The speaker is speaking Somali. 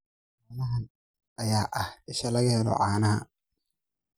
Xoolahan ayaa ah isha laga helo caanaha.